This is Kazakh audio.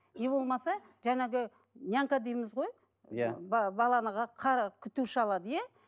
не болмаса жаңағы нянька дейміз ғой ия баланы күтуші алады иә